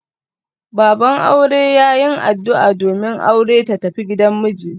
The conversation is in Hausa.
Baban aure ya yin addu'a domin aure ta tafi gidan miji.